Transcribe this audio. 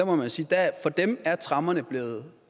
man må sige at for dem er tremmerne blive